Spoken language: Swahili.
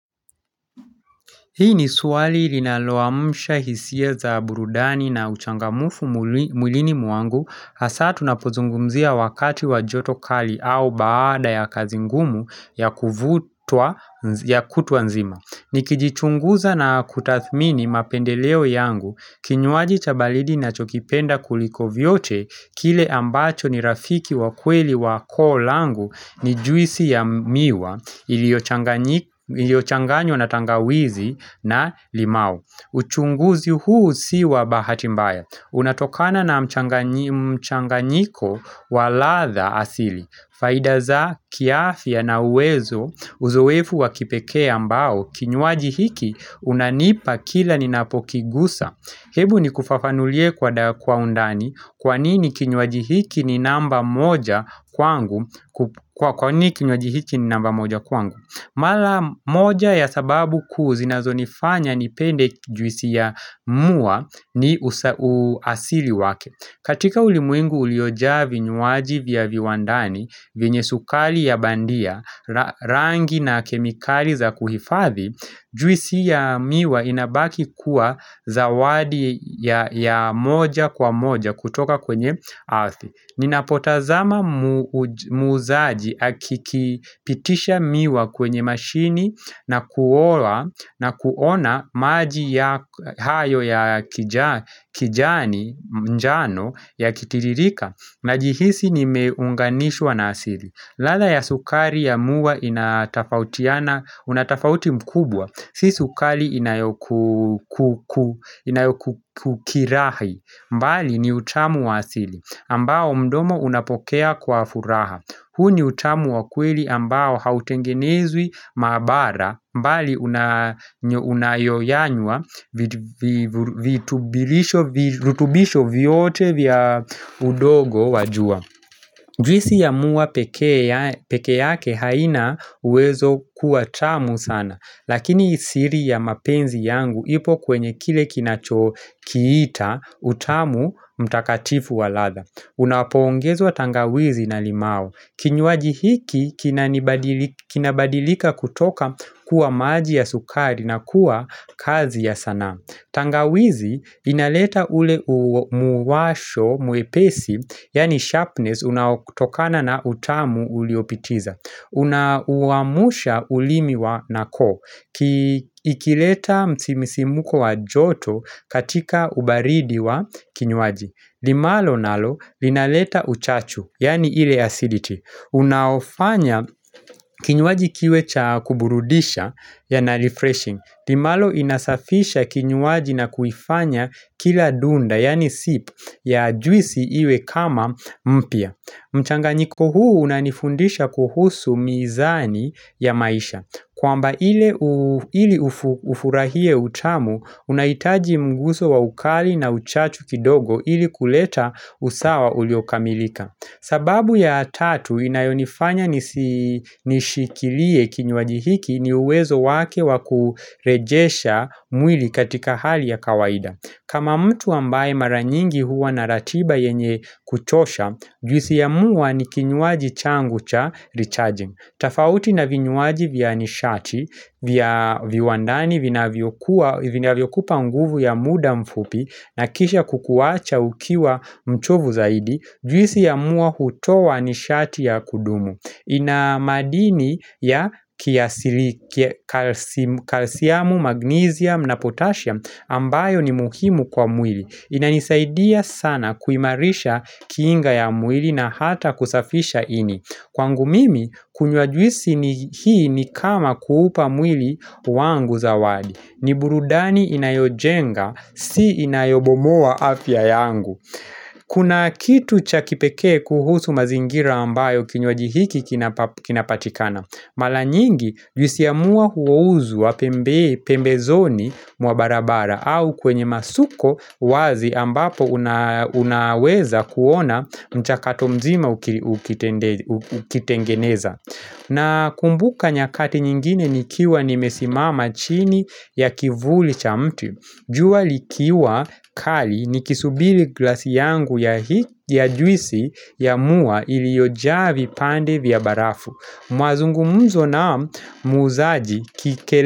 Hii ni swali linaloamsha hisia za burudani na uchangamufu mwilini mwangu hasa tunapozungumzia wakati wa joto kali au baada ya kazi ngumu ya kutwa nzima. Nikijichunguza na kutathmini mapendeleo yangu, kinywaji cha baridi nacho kipenda kuliko vyote, kile ambacho ni rafiki wa kweli wa koo langu ni juisi ya miwa iliyochanganywa na tangawizi na limau uchunguzi huu si wa bahati mbaya Unatokana na mchanganyiko wa ladha asili Faida za kiafya na uwezo Uzoefu wa kipekee ambao Kinywaji hiki unanipa kila ninapokigusa Hebu nikufafanulie kwa undani Kwa nini kinywaji hiki ni namba moja kwangu Kwa nini kinywaji hiki ni namba moja kwangu Mara moja ya sababu kuu zinazonifanya nipende juisi ya muwa ni uasili wake katika ulimwengu uliojaa vinywaji vya viwandani, vyenye sukari ya bandia, rangi na kemikali za kuhifadhi Juisi ya miwa inabaki kuwa zawadi ya moja kwa moja kutoka kwenye earth Ninapotazama muuzaji akikipitisha miwa kwenye mashini na kuona maji hayo ya kijani mjano yakitiririka Najihisi nimeunganishwa na asili ladha ya sukari ya muwa una tofauti mkubwa Si sukari inayokukirahi mbali ni utamu wa asili ambao mdomo unapokea kwa furaha huu ni utamu wa kweli ambao hautengenezwi maabara mbali unayoyanywa virutubisho vyote vya udogo wa jua Juisi ya muwa pekee peke yake haina uwezo kuwa tamu sana Lakini siri ya mapenzi yangu ipo kwenye kile kinachokiita utamu mtakatifu wa ladha Unapoongezwa tangawizi na limau Kinywaji hiki kinabadilika kutoka kuwa maji ya sukari na kuwa kazi ya sanaa tangawizi inaleta ule muwasho mwepesi Yaani sharpness unaotokana na utamu uliopitiza Unauamusha ulimi wa na koo ikileta msisimko wa joto katika ubaridi wa kinywaji limau nalo linaleta uchachu, yaani ile acidity. Unaofanya kinywaji kiwe cha kuburudisha, ya na refreshing. Limalo inasafisha kinywaji na kuifanya kila dunda, yaani sip, ya juisi iwe kama mpya. Mchanganyiko huu unanifundisha kuhusu mizani ya maisha. Kwamba ili ufurahie utamu, unahitaji mguso wa ukali na uchachu kidogo ili kuleta usawa uliokamilika. Sababu ya tatu inayonifanya nishikilie kinywaji hiki ni uwezo wake wa kurejesha mwili katika hali ya kawaida. Kama mtu ambaye mara nyingi huwa na ratiba yenye kuchosha, juisi ya muwa ni kinywaji changu cha recharging. Tofauti na vinywaji vya nishati, vya viwandani vinavyokupa nguvu ya muda mfupi na kisha kukuwacha ukiwa mchovu zaidi, juisi ya muwa hutowa nishati ya kudumu. Ina madini ya kiasili calcium, magnesium na potassium ambayo ni muhimu kwa mwili inanisaidia sana kuimarisha kiinga ya mwili na hata kusafisha ini Kwangu mimi, kunywa juisi ni hii ni kama kuupa mwili wangu zawadi ni burudani inayojenga, si inayobomoa afya yangu Kuna kitu cha kipekee kuhusu mazingira ambayo kinywaji hiki kinapatikana. Mara nyingi juisi ya muwa huuzwa pembezoni mwa barabara au kwenye masuko wazi ambapo unaweza kuona mchakato mzima ukitengeneza. Nakumbuka nyakati nyingine nikiwa nimesimama chini ya kivuli cha mtu. Jua likiwa kali nikisubiri glasi yangu ya juisi ya muwa iliyojaa vipande vya barafu. Mazungumzo na muuzaji kikele.